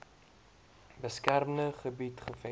beskermde gebied gevestig